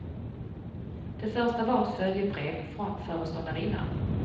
Det första var ett följebrev från föreståndarinnan.